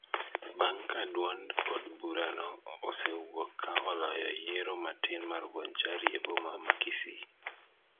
bang' ka duond od burano osewuok ka oloyo yiero matin mar Bonchari e boma ma Kisii.